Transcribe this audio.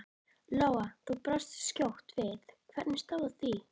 Lóa: Þú brást skjótt við, hvernig stóð á því?